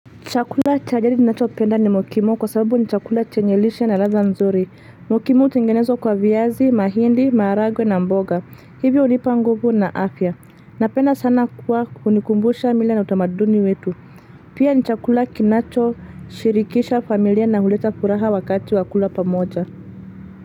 Chakula cha jadi ninachopenda ni mokimo kwa sababu ni chakula chenye lishe na ladha nzuri. Mokimo hutengenezwa kwa viazi, mahindi, maharagwe na mboga. Hivyo hunipa nguvu na afya. Napenda sana kuwa kunikumbusha mila na utamaduni wetu. Pia ni chakula kinachoshirikisha familia na huleta furaha wakati wa kula pamoja.